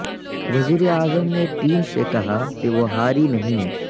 وزیر اعظم نے ٹیم سے کہا کہ وہ ہاری نہیں ہے